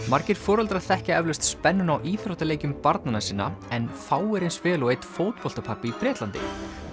margir foreldrar þekkja eflaust spennuna á íþróttaleikjum barnanna sinna en fáir eins vel og einn fótboltapabbi í Bretlandi